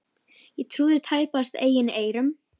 Ég trúði tæpast eigin eyrum.